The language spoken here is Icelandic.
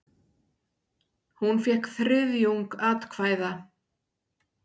Hún fékk þriðjung atkvæða.